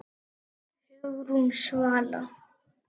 Hugrún Svala.